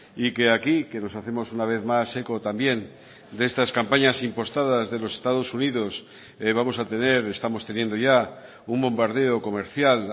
y que aquí que nos hacemos una vez más eco también de estas campañas impostadas de los estados unidos vamos a tener estamos teniendo ya un bombardeo comercial